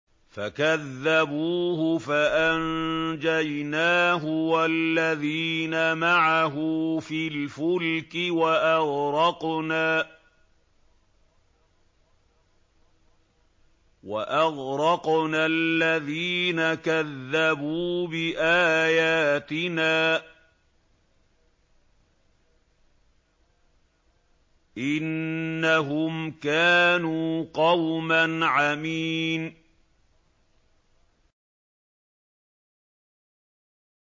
فَكَذَّبُوهُ فَأَنجَيْنَاهُ وَالَّذِينَ مَعَهُ فِي الْفُلْكِ وَأَغْرَقْنَا الَّذِينَ كَذَّبُوا بِآيَاتِنَا ۚ إِنَّهُمْ كَانُوا قَوْمًا عَمِينَ